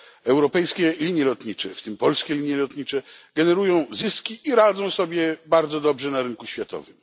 Europejskie linie lotnicze, w tym Polskie Linie Lotnicze, generują zyski i radzą sobie bardzo dobrze na rynku światowym.